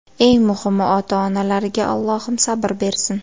Eng muhimi, ota-onalariga Allohim sabr bersin”.